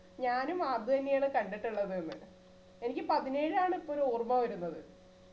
ഞാനും അതുതന്നെയാണ് കണ്ടിട്ടുള്ളത്ന്നു എനിക്ക് പതിനേഴാണ് ഇപ്പൊരു ഓർമ വരുന്നത്